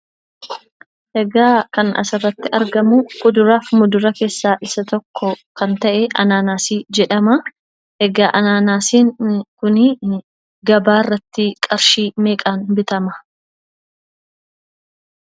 Egaa kan asirratti argamu kuduraaf muduraa keessaa isa tokko kan ta'e anaanaasii jedhamaa. Egaa anaanaasiin kuni gabaa irratti qarshii meeqaan bitama?